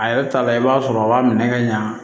A yɛrɛ ta la i b'a sɔrɔ a b'a minɛ ka ɲa